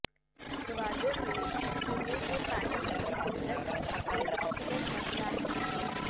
گوادر میں پینے کے پانی کی قلت ایک اہم مسئلہ ہے